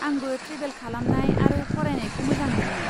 आंबो ट्रेभेल खालामनाय आरो फरायनायखौ मोजां मोनो।